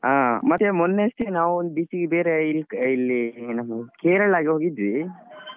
ಹ ಮತ್ತೆ ಮೊನ್ನೆ ಅಷ್ಟೆ ನಾವು ಒಂದ್ beach ಗೆ ಬೇರೆ ಇಲ್~ ಇಲ್ಲಿ ಎನ್ ನಾವು Kerala ಗೆ ಹೋಗಿದ್ವಿ.